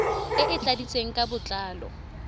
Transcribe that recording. e e tladitsweng ka botlalo